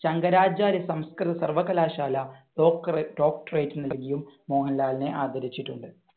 ശങ്കരാചാര്യ സംസ്കൃത സർവകലാശാല ഡോക്രെ~ doctorate നൽകിയും മോഹൻലാലിനെ ആദരിച്ചിട്ടുണ്ട്.